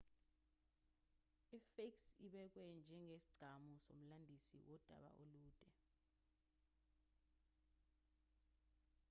isphinx ibekwe njengesigcawu nomlandisi wodaba olude